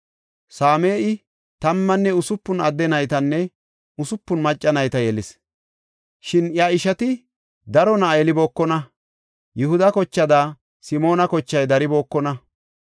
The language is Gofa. Same7i tammanne usupun adde naytanne usupun macca nayta yelis. Shin iya ishati daro na7a yelibookona. Yihuda kochaada Simoona kochay daribookona.